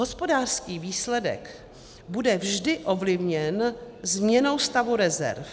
Hospodářský výsledek bude vždy ovlivněn změnou stavu rezerv.